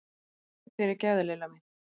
Fyrirgefðu, Lilla mín!